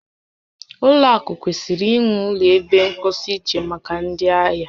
Ụlọ akụ kwesịrị inwe ụlọ ebe mposi iche maka ndị ahịa